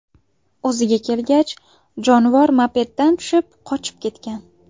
O‘ziga kelgach, jonivor mopeddan tushib, qochib ketgan.